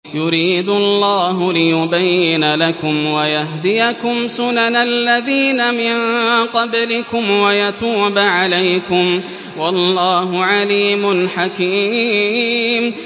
يُرِيدُ اللَّهُ لِيُبَيِّنَ لَكُمْ وَيَهْدِيَكُمْ سُنَنَ الَّذِينَ مِن قَبْلِكُمْ وَيَتُوبَ عَلَيْكُمْ ۗ وَاللَّهُ عَلِيمٌ حَكِيمٌ